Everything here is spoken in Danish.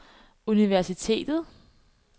universitetet